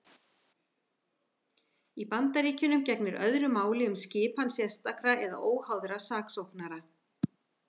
Í Bandaríkjunum gegnir öðru máli um skipan sérstakra eða óháðra saksóknara.